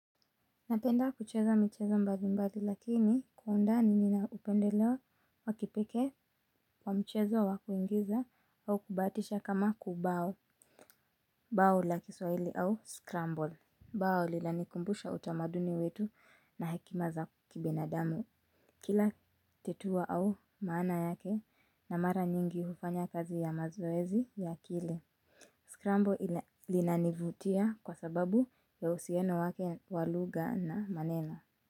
Napenda kucheza michezo mbali mbali lakini kwa undani nina upendeleo wa kipekee kwa mchezo wa kuingiza au kubahatisha kama kubao. Bao la kiswahili au skrambol. Bao linanikumbusha utamaduni wetu na hekima za kibinadamu. Kila tetua au maana yake na mara nyingi hufanya kazi ya mazoezi ya kile. Skrambol linanivutia kwa sababu ya uhusiano wake wa lugha na maneno.